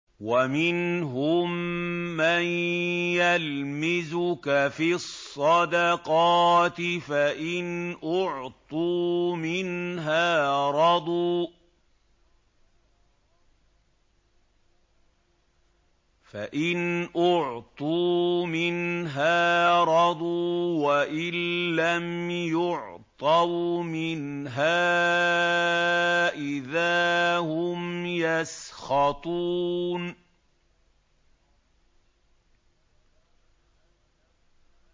وَمِنْهُم مَّن يَلْمِزُكَ فِي الصَّدَقَاتِ فَإِنْ أُعْطُوا مِنْهَا رَضُوا وَإِن لَّمْ يُعْطَوْا مِنْهَا إِذَا هُمْ يَسْخَطُونَ